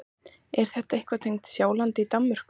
Er það eitthvað tengt Sjálandi í Danmörku?